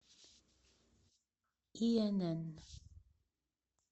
инн